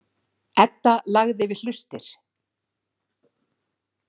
Edda lagði við hlustir.